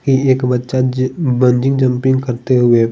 यह एक बच्चा जी बंजी जम्पिंग करते हुए--